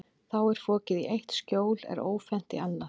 Þá fokið er í eitt skjól er ófennt í annað.